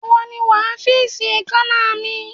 Ìwọ ni wàá fíìsì èékàná mi!